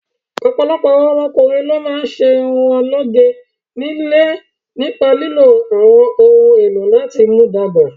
Ọ̀pọ̀lọpọ̀ àwọn ọkùnrin ló máa ń ṣe irun wọn lóge ní ilé nípa lílo àwọn ohun èlò láti mú dàgbà.